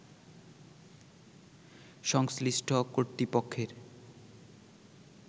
সংশ্লিষ্ট কর্তৃপক্ষের